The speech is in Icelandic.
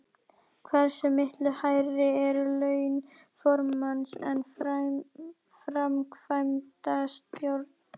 Fílabeinsströndinni Hver er fyrirliði karlaliðs Breiðabliks?